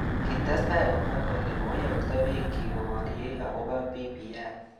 Kitestai komwa kole koiyokto bik chik koborye akobo BBI.